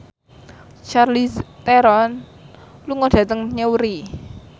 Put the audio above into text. Charlize Theron lunga dhateng Newry